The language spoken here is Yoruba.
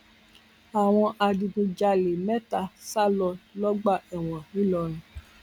àwọn adigunjalè mẹta sá lọ lọgbà ẹwọn ńìlọrin